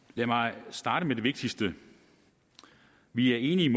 lad mig starte med det vigtigste vi er enige